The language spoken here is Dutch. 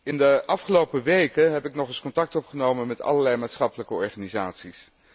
In de afgelopen weken heb ik nog eens contact opgenomen met allerlei maatschappelijke organisaties.